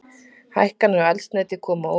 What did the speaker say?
Hækkanir á eldsneyti koma á óvart